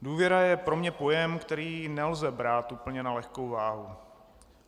Důvěra je pro mě pojem, který nelze brát úplně na lehkou váhu.